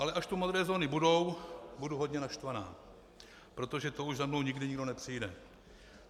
Ale až tu modré zóny budou, budu hodně naštvaná, protože to už za mnou nikdy nikdo nepřijede.